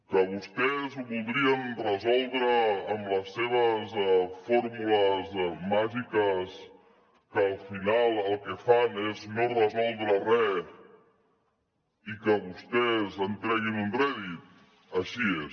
que vostès ho voldrien resoldre amb les seves fórmules màgiques que al final el que fan és no resoldre res i que vostès en treguin un rèdit així és